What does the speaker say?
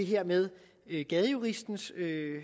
her med gadejuristens